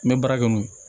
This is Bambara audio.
N bɛ baara kɛ n'o ye